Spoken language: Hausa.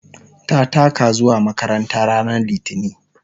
ta taka zuwa makaranta ranar litini